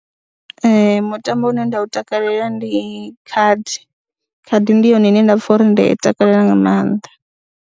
Ee, mutambo une nda u takalela ndi khadi, khadi ndi yone ine nda pfha uri nda i takalela nga maanḓa.